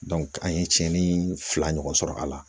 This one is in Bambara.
an ye cɛni fila ɲɔgɔn sɔrɔ a la